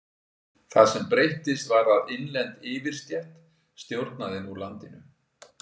Það sem breyttist var að innlend yfirstétt stjórnaði nú landinu.